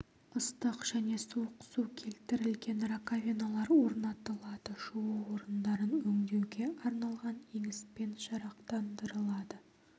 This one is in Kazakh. ыстық және суық су келтірілген раковиналар орнатылады жуу орындарын өңдеуге арналған еңіспен жарақтандырылады